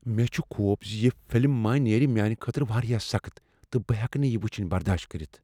مےٚ چھ خوف ز یہ فلم ما نیرِ میانہ خٲطرٕ واریاہ سخٕت تہٕ بہٕ ہیکہٕ نہٕ یہ وٕچھنۍ برداش کٔرتھ۔